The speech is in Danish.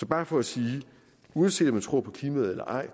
bare for at sige at uanset om man tror på klimaet eller ej